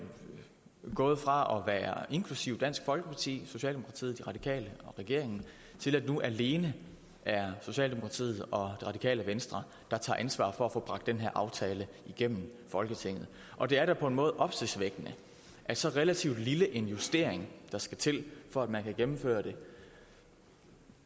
gået fra at være inklusive dansk folkeparti socialdemokratiet de radikale og regeringen til at det nu alene er socialdemokratiet og det radikale venstre der tager ansvar for at få bragt den her aftale igennem folketinget og det er da på en måde opsigtsvækkende at så relativt lille en justering der skal til for at man kan gennemføre det